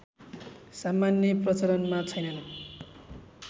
सामान्य प्रचलनमा छैनन्